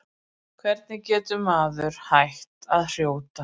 Hvernig getur maður hætt að hrjóta?